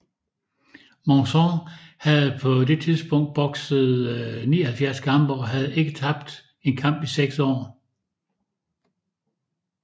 Monzón havde på det tidspunkt bokset 79 kampe og havde ikke tabt en kamp i seks år